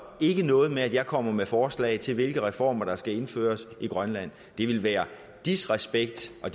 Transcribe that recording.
ikke noget med at jeg kommer med forslag til hvilke reformer der skal indføres i grønland det ville være disrespekt og